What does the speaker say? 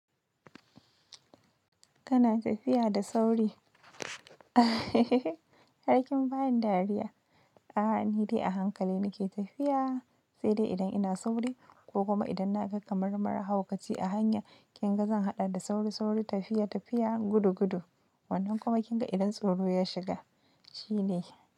Kana tafiya da sauri. Harkin bani dariya. A'a ni dai a hankali nake tafiya, sai dai idan ina sauri ko kuma idan na ga kamar mara haukaci a hanya kinga zan haɗa da sauri sauri tafiya tafiya gudu gudu. Wannan kuma kinga idan tsoro ya shiga shine.